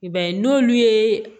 I b'a ye n'olu ye